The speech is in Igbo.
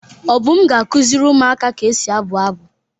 Obum ga-akuziri umuaka ka esi abu abu.